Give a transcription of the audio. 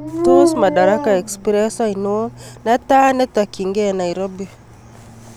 Tos madaraka express aini netaa netokyingei nairobi